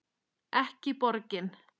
Ekki borgin.